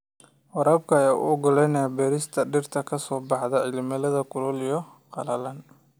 Waraabka ayaa u oggolaanaya beerista dhirta ka soo baxda cimilada kulul iyo qalalan.